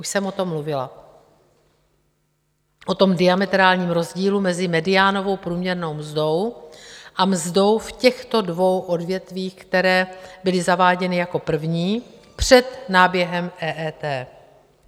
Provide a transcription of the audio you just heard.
Už jsem o tom mluvila, o tom diametrálním rozdílu mezi mediánovou průměrnou mzdou a mzdou v těchto dvou odvětvích, která byla zaváděna jako první před náběhem EET.